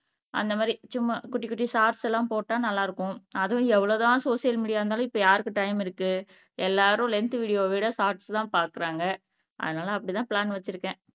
அந்த மாதிரி சும்மா குட்டி குட்டி ஷார்ட்ஸ் எல்லாம் போட்டா நல்லா இருக்கும் அதுவும் எவ்வளவுதான் சோசியல் மீடியா இருந்தாலும் இப்ப யாருக்கு டைம் இருக்கு எல்லாரும் லென்த் வீடியோவை விட ஷார்ட்ஸ்தான் பாக்குறாங்க அதனால அப்படித்தான் பிளான் வச்சிருக்கேன்